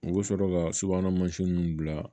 U bɛ sɔrɔ ka subahana mansinw bila